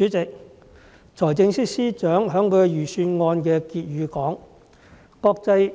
主席，財政司司長在財政預算案的結語說，"國際